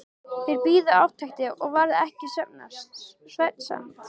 Þeir biðu átekta og varð ekki svefnsamt.